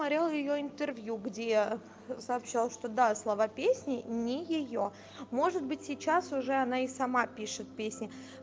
смотрела её интервью где сообщала что до слова песни не её может быть сейчас уже она и сама пишет песни